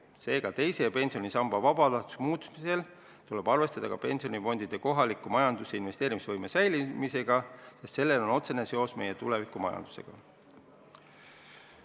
Seega, teise pensionisamba vabatahtlikuks muutmisel tuleb arvestada ka pensionifondide kohalikku majandusse investeerimise võime säilimisega, sest sellel on otsene seos meie tulevikumajandusega.